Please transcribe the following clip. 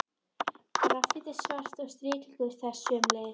Grafít er svart og striklitur þess sömuleiðis.